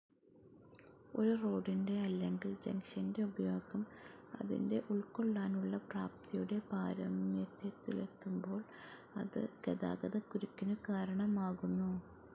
ഒരു റോഡിന്റെ അല്ലെങ്കിൽ ജംഗ്‌ഷന്റെ ഉപയോഗം അതിന്റെ ഉൾക്കൊള്ളാനുള്ള പ്രാപ്തിയുടെ പാരമ്യത്തിലെത്തുമ്പോൾ അത് ഗതാഗതക്കുരുക്കിനു കാരണമാകുന്നു.